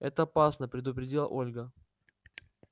это опасно предупредила ольга